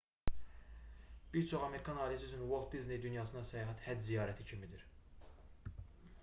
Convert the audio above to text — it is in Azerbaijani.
bir çox amerikan ailəsi üçün uolt disney dünyasına səyahət həcc ziyarəti kimidir